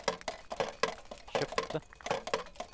kjøpte